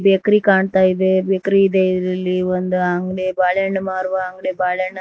bakery ಕಾಣ್ತಾ ಇದೆ bakery ಇದೆ ಇದರಲ್ಲಿ ಒಂದು ಅಂಗಡಿ ಬಾಳೆಹಣ್ಣು ಮಾರುವ ಅಂಗಡಿ ಬಾಳೆಹಣ್ಣ--